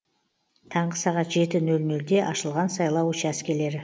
таңғы сағат жеті нөл нөлде ашылған сайлау учаскелері